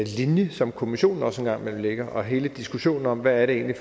linje som kommissionen også en gang imellem lægger og hele diskussionen om hvad det egentlig